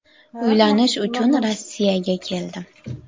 Uylanish uchun Rossiyaga keldim.